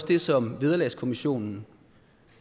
det som vederlagskommissionen